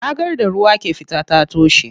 Ragar da ruwa ke fita ta toshe.